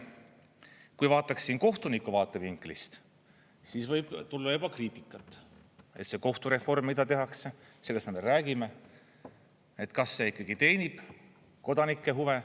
Kui vaataksin kohtuniku vaatevinklist, siis võib tulla juba kriitikat, et see kohtureform, mida tehakse – sellest me veel räägime –, kas see ikkagi teenib kodanike huve.